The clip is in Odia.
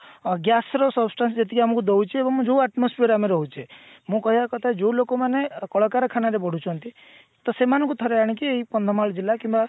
ଅ gas ର substances ଯେତିକି ଦଉଛି ଏବଂ ଯୋଉ atmosphere ରେ ଆମେ ରହୁଛେ କହିବା କଥା ଯୋଉ ଲୋକମାନେ କଳକାରଖାନା ରେ ବଢୁଛନ୍ତି ତ ସେମାନଙ୍କୁ ଥରେ ଆଣିକି ଏଇ କନ୍ଧମାଳ ଜିଲ୍ଲା କିମ୍ବା